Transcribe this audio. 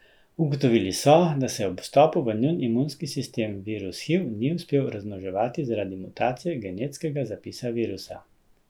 Ugotovili so, da se ob vstopu v njun imunski sistem virus hiv ni uspel razmnoževati zaradi mutacije genetskega zapisa virusa.